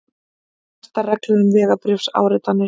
Hertar reglur um vegabréfsáritanir